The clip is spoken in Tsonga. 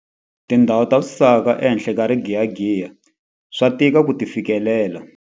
Tindhawu ta swisaka ehenhla ka rigiyagiya swa tika ku ti fikelela.